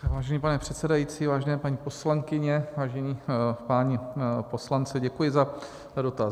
Vážený pane předsedající, vážené paní poslankyně, vážení páni poslanci, děkuji za dotaz.